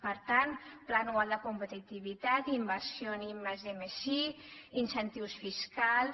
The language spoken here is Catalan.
per tant pla anual de competitivitat inversió en i+d+i incentius fiscals